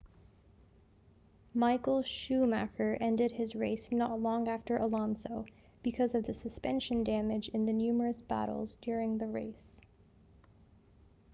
michael schumacher ended his race not long after alonso because of the suspension damage in the numerous battles during the race